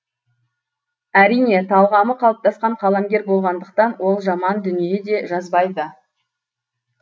әрине талғамы қалыптасқан қаламгер болғандықтан ол жаман дүние де жазбайды